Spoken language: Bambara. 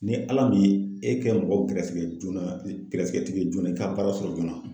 Ni Ala m'i e kɛ mɔgɔ gɛrɛsɛgɛ joona gɛrɛsɛgɛ tigi ye joona i ka baara sɔrɔ joona